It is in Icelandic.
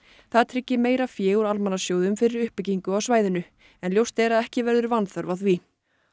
það tryggi meira fé úr almannasjóðum fyrir uppbyggingu á svæðunum en ljóst er að ekki verður vanþörf á því